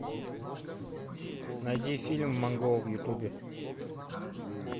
найди фильм монгол в ютубе